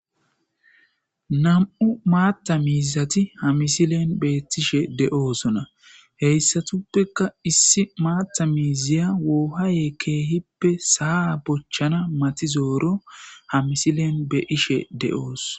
nam7u maatta miizati hamisilen beettishe de'osona, heyssatuppeka issi maatta miiziya woohaaye keehippe saa bochchana matizooro hamisilen be'ishe de'os.